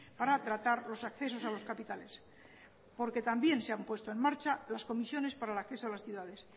para tratar los accesos a las capitales porque también se han puesto en marcha las comisiones para el acceso a las ciudades